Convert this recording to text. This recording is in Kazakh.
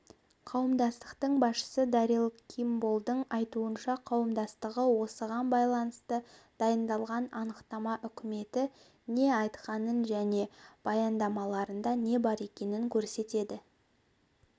қауымдастықтың басшысы дарил кимболдың айтуынша қауымдастығы осыған байланысты дайындалған анықтама үкіметі не айтқанын және баяндамаларында не бар екенін көрсетеді